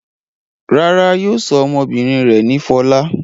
Rárá, yóò sọ ọmọbìnrin rẹ̀ ní Fọlá.